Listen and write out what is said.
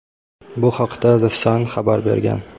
Bu haqda "The Sun" xabar bergan.